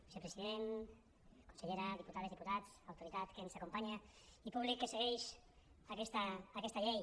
vicepresident consellera diputades diputats autoritat que ens acompanya i públic que segueix aquesta llei